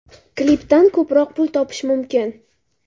Klipdan ko‘proq pul topish mumkin.